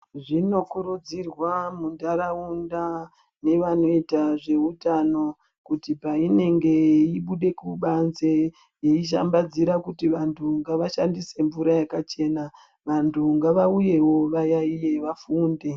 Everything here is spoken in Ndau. Zvinokurudzirwa muntaraunda nevanoita zveutano kuti painenge eibude kubanze, eishambadzira kuti vantu ngavashandise mvura yakachena, vantu ngavauyewo vayayiye, vafunde.